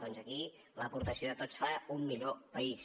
doncs aquí l’aportació de tots fa un millor país